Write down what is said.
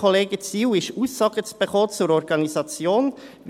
Ziel ist es, Aussagen zur Organisation zu erhalten.